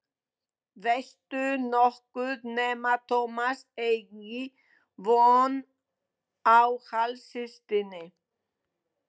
Veistu nokkuð nema Tómas eigi von á hálfsystkini?